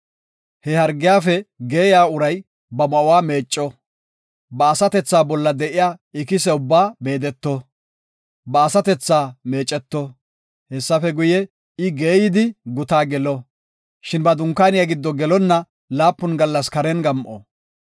He hargiyafe geeyiya uray ba ma7uwa meecco; ba asatethaa bolla de7iya ikise ubbaa meedeto; ba asatethaa meeceto. Hessafe guye, I geeyidi guta gelo, shin ba dunkaaniya giddo gelonna laapun gallas karen gam7o.